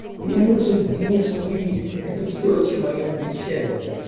мне нужен внешний вид это все чем они отличаются